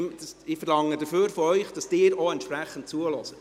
Ich verlange dafür von Ihnen, dass Sie entsprechend zuhören.